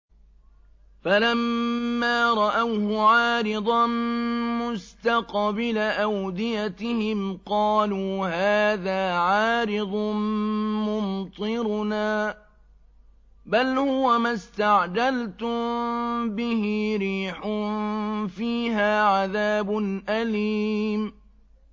فَلَمَّا رَأَوْهُ عَارِضًا مُّسْتَقْبِلَ أَوْدِيَتِهِمْ قَالُوا هَٰذَا عَارِضٌ مُّمْطِرُنَا ۚ بَلْ هُوَ مَا اسْتَعْجَلْتُم بِهِ ۖ رِيحٌ فِيهَا عَذَابٌ أَلِيمٌ